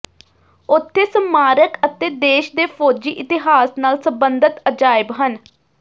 ਉੱਥੇ ਸਮਾਰਕ ਅਤੇ ਦੇਸ਼ ਦੇ ਫੌਜੀ ਇਤਿਹਾਸ ਨਾਲ ਸਬੰਧਤ ਅਜਾਇਬ ਹਨ